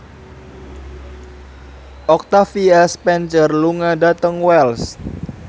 Octavia Spencer lunga dhateng Wells